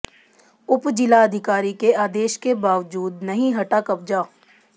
उप जिलाधिकारी के आदेश के बावजूद नहीं हटा कब्जा